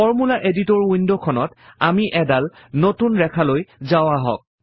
formula editor window খনত আমি এডাল নতুন ৰেখালৈ যাও আহক